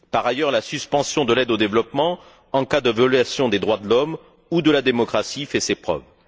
Par ailleurs, la suspension de l'aide au développement, en cas de violation des droits de l'homme ou de la démocratie, fait ses preuves.